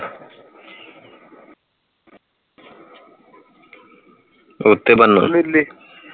ਉਹ ਤੇ ਬਣਦਾ